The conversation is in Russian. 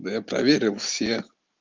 да я проверил все